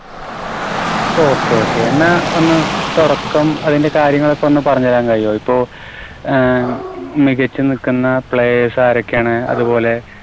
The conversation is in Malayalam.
Okay, Okay എന്നാൽ പിന്നെ തുടക്കം അതിന്റെ കാര്യങ്ങളൊക്കെ ഒന്ന് പറഞ്ഞു തരാൻ കഴിയുവോ? ഇപ്പോ ആഹ് മികച്ചു നിൽക്കുന്ന players ആരൊക്കെയാണ്? അതുപോലെ